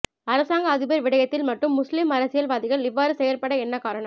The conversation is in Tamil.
அரசாங்க அதிபர் விடயத்தில் மட்டும் முஸ்லீம் அரசியல் வாதிகள் இவ்வாறு செயற்பட என்ன காரணம்